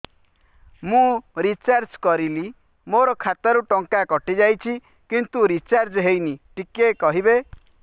ମୁ ରିଚାର୍ଜ କରିଲି ମୋର ଖାତା ରୁ ଟଙ୍କା କଟି ଯାଇଛି କିନ୍ତୁ ରିଚାର୍ଜ ହେଇନି ଟିକେ କହିବେ